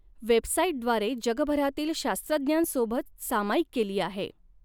वेबसाइटद्वारे जगभरातील शास्त्रज्ञांसोबत सामायिक केली आहे.